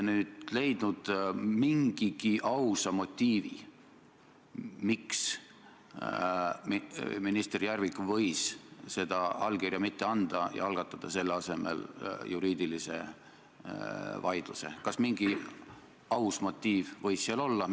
Justiitsminister käis meil eile fraktsioonis ja kinnitas, et need siseministri väited ei vasta tõele, tal ei ole mitte ühtegi fakti, mis viitaks sellele, et uurimisprotsessid on Eestis poliitiliselt sõltuvad.